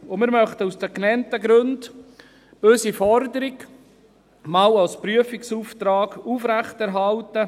Wir möchten aus den genannten Gründen unsere Forderung als Prüfauftrag aufrechterhalten.